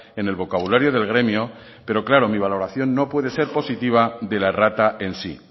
en el vocabulario del gremio pero claro mi valoración no puede ser positiva de la errata en sí